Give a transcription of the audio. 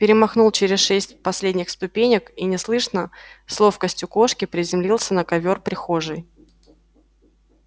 перемахнул через шесть последних ступенек и неслышно с ловкостью кошки приземлился на ковёр прихожей